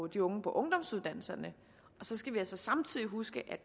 de unge på ungdomsuddannelserne og så skal vi altså samtidig huske at